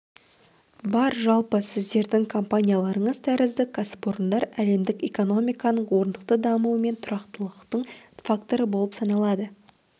бар жалпы сіздердің компанияларыңыз тәрізді кәсіпорындар әлемдік экономиканың орнықты дамуы мен тұрақтылықтың факторы болып саналады